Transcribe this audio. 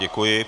Děkuji.